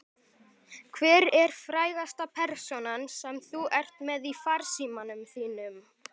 Hver er frægasta persónan sem þú ert með í farsímanum þínum?